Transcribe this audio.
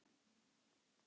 segi ég og við hlæjum.